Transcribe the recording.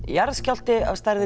jarðskjálfti að stærðinni